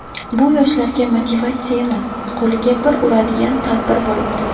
Bu yoshlarga motivatsiya emas, qo‘liga bir uradigan tadbir bo‘libdi.